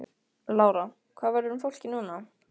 Lára: Hvað verður um fólkið núna?